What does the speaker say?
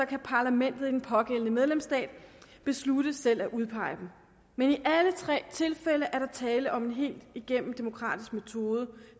kan parlamentet i den pågældende medlemsstat beslutte selv at udpege dem men i alle tre tilfælde er der tale om en helt igennem demokratisk metode